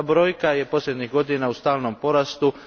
Ta brojka je posljednjih godina u stalnom porastu.